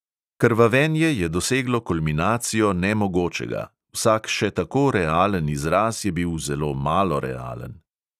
Krvavenje je doseglo kulminacijo nemogočega, vsak še tako realen izraz je bil zelo malo realen.